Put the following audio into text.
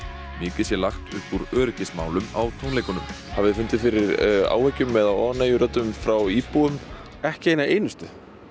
mikið sé lagt upp úr öryggismálum á tónleikunum hafið þið fundið fyrir áhyggjum eða óánægjuröddum frá íbúum ekki eina einustu